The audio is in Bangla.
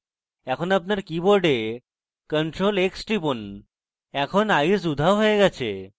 এখন আপনার keyboard ctrl + x টিপুন এখন eyes উধাও হয়ে গেছে